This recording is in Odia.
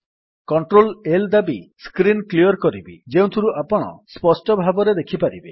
କଣ୍ଟ୍ରୋଲ୍ L ଦାବି ସ୍କ୍ରୀନ୍ କ୍ଲିଅର୍ କରିବି ଯେଉଁଥିରୁ ଆପଣ ସ୍ପଷ୍ଟ ଭାବରେ ଦେଖିପାରିବେ